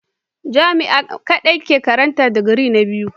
Jami'a kadai ake karatun digiri na biyu.